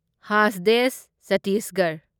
ꯍꯥꯁꯗꯦꯁ ꯆꯠꯇꯤꯁꯒꯔꯍ